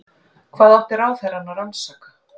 Hvað átti ráðherrann að rannsaka?